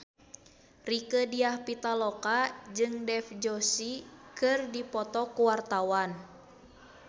Rieke Diah Pitaloka jeung Dev Joshi keur dipoto ku wartawan